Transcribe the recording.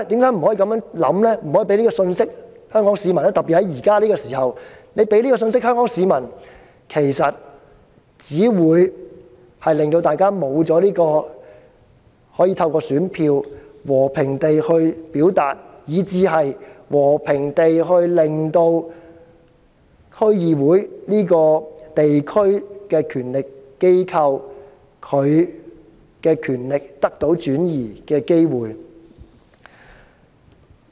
因為特別在目前這個時刻，如果政府帶給香港市民這種信息，其實只會令大家失去透過選票和平表達意見的機會，以及失去讓區議會這個地區權力機構和平轉移權力的機會。